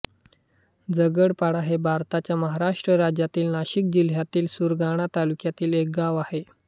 झगडपाडा हे भारताच्या महाराष्ट्र राज्यातील नाशिक जिल्ह्यातील सुरगाणा तालुक्यातील एक गाव आहे